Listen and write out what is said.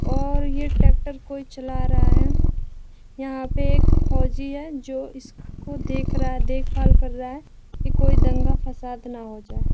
और ये ट्रैक्टर कोई चला रहा है यहाँ पे एक फौजी है जो इसको देख रहा है देखभाल कर रहा है की कोई दंगा फसाद न हो जाए।